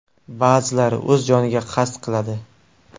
Ba’zilari o‘z joniga qasd qiladi.